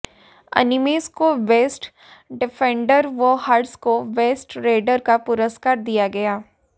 अनिमेष को best defender व हर्ष को बेस्ट रेडर का पुरस्कार दिया गया